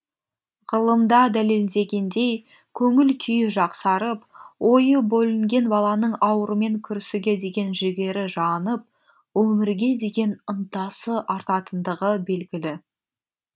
ғылымда дәлелденгендей көңіл күйі жақсарып ойы бөлінген баланың аурумен күресуге деген жігері жанып өмірге деген ынтасы артатындығы белгілі